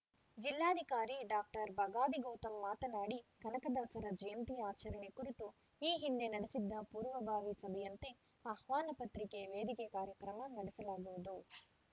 ಜಿಲ್ಲಾಧಿಕಾರಿ ಡಾಕ್ಟರ್ ಬಗಾದಿ ಗೌತಮ್‌ ಮಾತನಾಡಿ ಕನಕದಾಸರ ಜಯಂತಿ ಆಚರಣೆ ಕುರಿತು ಈ ಹಿಂದೆ ನಡೆಸಿದ್ದ ಪೂರ್ವಭಾವಿ ಸಭೆಯಂತೆ ಆಹ್ವಾನ ಪತ್ರಿಕೆ ವೇದಿಕೆ ಕಾರ್ಯಕ್ರಮ ನಡೆಸಲಾಗುವುದು